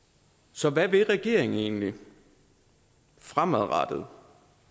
så hvad vil regeringen egentlig fremadrettet